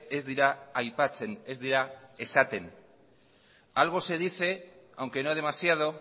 ez dira aipatzen ez dira esaten algo se dice aunque no demasiado